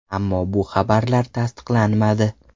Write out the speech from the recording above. Ammo bu xabarlar tasdiqlanmadi.